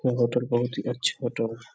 वो होटल बहुत ही अच्छी होटल --